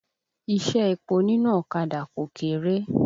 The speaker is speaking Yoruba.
Iṣẹ́ epo nínú ọ̀kadà kò kéré.